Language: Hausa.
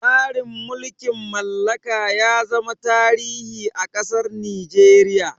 Tsarin mulkin mallaka ya zama tarihi a ƙasar Nigeria.